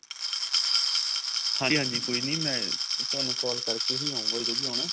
ਹਾਂਜੀ ਹਾਂਜੀ ਕੋਈ ਨੀਂ ਮੈਂ ਤੁਹਾਨੂੰ call ਕਰ ਕੇ ਹੀ ਆਊਂਗਾ ਜਦੋ ਵੀ ਆਉਣਾ